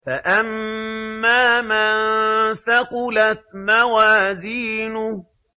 فَأَمَّا مَن ثَقُلَتْ مَوَازِينُهُ